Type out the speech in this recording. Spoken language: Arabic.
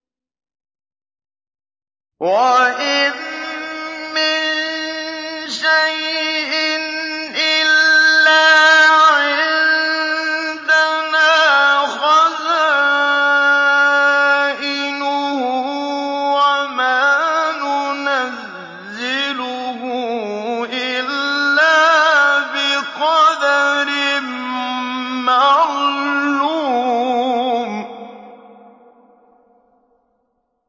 وَإِن مِّن شَيْءٍ إِلَّا عِندَنَا خَزَائِنُهُ وَمَا نُنَزِّلُهُ إِلَّا بِقَدَرٍ مَّعْلُومٍ